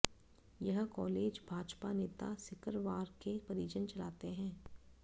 यह कॉलेज भाजपा नेता सिकरवार के परिजन चलाते हैं